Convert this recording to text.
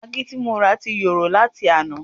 Magí ti morà ti yòrò láti àná